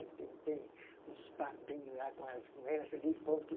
Ele tem tem uns papinho lá com